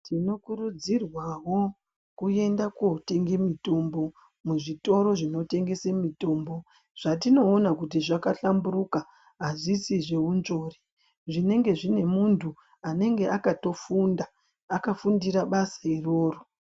Tinokuridzirwawo kuenda kundotenga mutombo muzvitoro zvinotengesa mutombo zvatinoonawo kuti zvakahlamburika azvisi zveunzvori zvinenge zvine mundu anenge akatofunda akafundira basa iroro